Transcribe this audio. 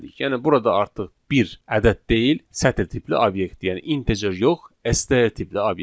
Yəni burada artıq bir ədəd deyil, sətir tipli obyekt, yəni integer yox, STR tipli obyektdir.